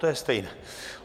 To je stejné.